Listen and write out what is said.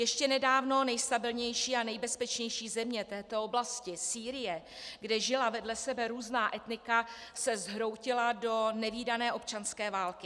Ještě nedávno nejstabilnější a nejbezpečnější země této oblasti, Sýrie, kde žila vedle sebe různá etnika, se zhroutila do nevídané občanské války.